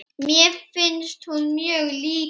Mér finnst hún mjög lítil.